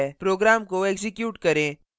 program को execute करें